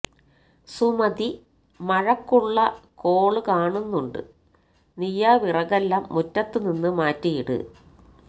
സുമതി മഴക്കുള്ള കോള് കാണുന്നുണ്ട് നീയാ വിറകെല്ലാം മുറ്റത്തു നിന്ന് മാറ്റിയിട്